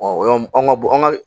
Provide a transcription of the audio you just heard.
an ka bo an ka